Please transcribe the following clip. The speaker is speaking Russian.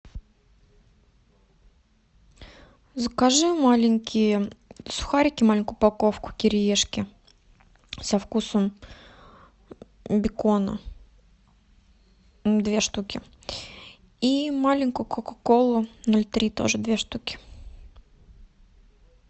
закажи маленькие сухарики маленькую упаковку кириешки со вкусом бекона две штуки и маленькую кока колу ноль три тоже две штуки